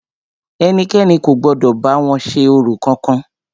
Ẹnikẹ́ni kò gbọdọ̀ bá wọn ṣe orò kankan!